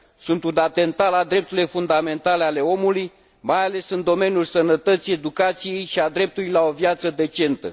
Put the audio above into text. Sunt un atentat la drepturile fundamentale ale omului, mai ales în domeniul sănătății, educației și a dreptului la o viață decentă.